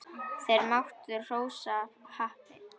Þeir máttu hrósa happi.